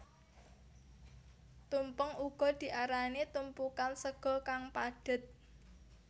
Tumpeng uga diarani tumpukan sega kang padhet